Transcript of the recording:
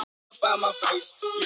Ég verð að bíða og sjá.